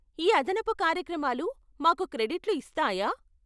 ఈ అదనపు కార్యక్రమాలు మాకు క్రెడిట్లు ఇస్తాయా?